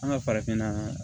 An ka farafinna